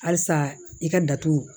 Halisa i ka datugu